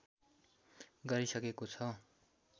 गरिसकेको छ